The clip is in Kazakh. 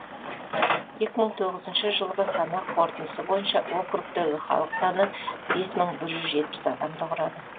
екі мың тоғызыншы жылғы санақ қорытындысы бойынша округтегі халық саны бес мың бір жүз жетпіс адамды құрады